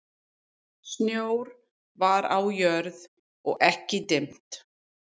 Snjór var á jörð og ekki dimmt.